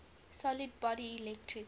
solid body electric